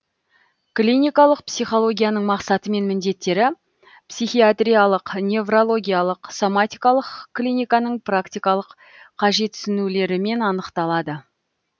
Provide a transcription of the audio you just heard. кликалық психологияның мақсатымен міндеттері психиатрлық неврологиялық соматикалық кликаның практикалық қажетсінулерімен анықталады